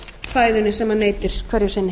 fæðunni sem hann neytir hverju sinni